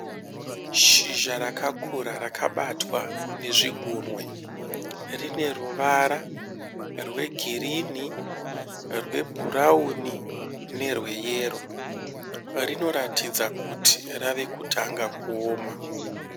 Shizha rakakura rakabatwa nezvigunwe. Rine ruvara rwegirini rwebhurauni nerweyero. Rinoratidza kuti rave kutanga kuoma.